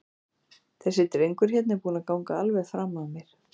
Þessi drengur hérna er búinn að ganga alveg fram af mér.